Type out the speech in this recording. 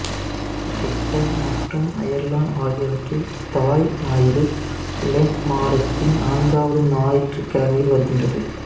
Britain மற்றும் Ireland ஆகியவற்றில் தாய் ஞாயிறு லெண்ட் மாதத்தின் நான்காவது ஞாயிற்றுக் கிழமையில் வருகின்றது